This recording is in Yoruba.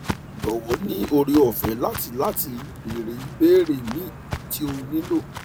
jowo ni ore ofe lati lati beere ibeere mi ti o nilo